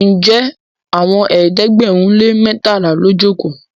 Njé Àwọn ẹ̀ẹ́dẹ̀gbẹ̀rin lè mẹtala ló joko?